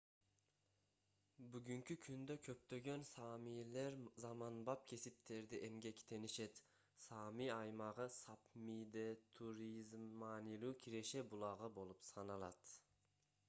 бүгүнкү күндө көптөгөн саамилер заманбап кесиптерде эмгектенишет саами аймагы сапмиде туризм маанилүү киреше булагы болуп саналат